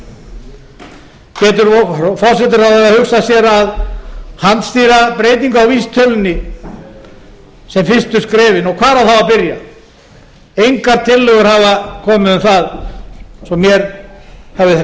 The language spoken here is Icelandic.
breyta núverandi ástandi getur forsætisráðherra hugsað sér að handstýra breytingu á vísitölunni sem fyrstu skrefin og hvar á þá að byrja engar tillögur hafa komið um það svo mér hafi